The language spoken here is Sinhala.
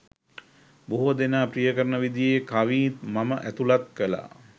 බොහෝ දෙනා ප්‍රිය කරන විදියේ කවිත් මම ඇතුළත් කළා